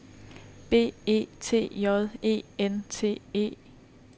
B E T J E N T E